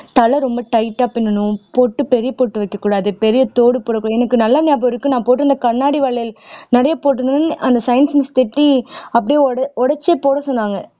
தல ரொம்ப tight ஆ பின்னணும் போட்டு பெரிய பொட்டு வைக்கக்கூடாது பெரிய தோடு போடக்கூடாது எனக்கு நல்லா ஞாபகம் இருக்கு நான் போட்டிருந்த கண்ணாடி வளையல் நிறைய போட்டிருந்தவுடனே அந்த science miss திட்டி அப்படியே உடை உடைச்சே போட சொன்னாங்க